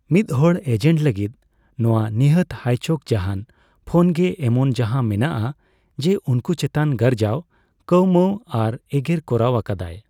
ᱢᱤᱫᱦᱚᱲ ᱮᱡᱮᱱᱴ ᱞᱟᱹᱜᱤᱫ ᱱᱚᱣᱟ ᱱᱤᱦᱟᱹᱛ ᱦᱟᱭᱪᱚᱠ ᱡᱟᱦᱟᱸᱱ ᱯᱷᱳᱱᱜᱮ ᱮᱢᱚᱱ ᱡᱟᱦᱟᱸ ᱢᱮᱱᱟᱜᱼᱟ ᱡᱮ ᱩᱱᱠᱩ ᱪᱮᱛᱟᱱ ᱜᱟᱨᱡᱟᱣ, ᱠᱟᱹᱣᱢᱟᱹᱣ ᱟᱨ ᱮᱜᱮᱨ ᱠᱚᱨᱟᱣ ᱟᱠᱟᱫᱟᱭ ᱾